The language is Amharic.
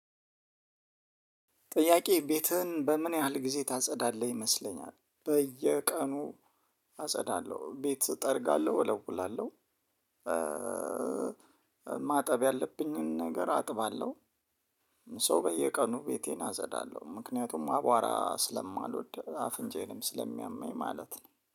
ጥያቄ ቤትህን በምን ያህል ጊዜ ታጸዳለህ ይመስለኛል? በየቀኑ ቤት እጠርጋለሁ ወለውላለው። ማጠብ ያለብኝን ነገር አጥባለሁ። ሶው በየቀኑ ቤቴን አዘዳለሁ ምክንያቱም አቧራ ስለማልወድ አፍንጫዬንም ስለሚያመኝ ማለት ነው